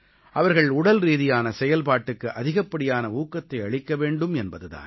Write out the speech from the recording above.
அவர்கள் உடல்ரீதியான செயல்பாட்டுக்கு அதிகப்படியான ஊக்கத்தை அளிக்க வேண்டும் என்பது தான்